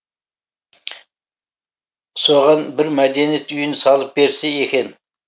соған бір мәдениет үйін салып берсе екен